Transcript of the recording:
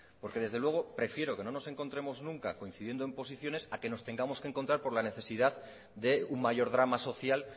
porque desde luego prefiero que no nos encontremos nunca coincidiendo en posiciones a que nos tengamos que encontrar por la necesidad de un mayor drama social